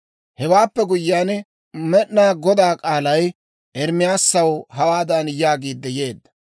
Hewaappe guyyiyaan, Med'inaa Godaa k'aalay Ermaasaw hawaadan yaagiidde yeedda;